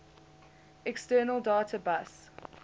external data bus